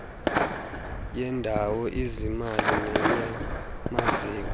yendawo izimali neyamaziko